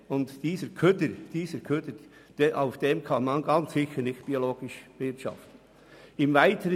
Auf diesem Abfall kann mit Sicherheit nicht biologisch gewirtschaftet werden.